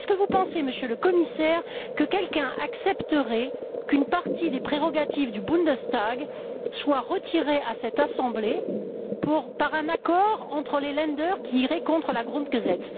Pensez vous, Monsieur le Commissaire, que quelqu'un accepterait qu'une partie des prérogatives du Bundestag soit retirée à cette assemblée par un accord entre les Länder qui irait contre la Grundgesetz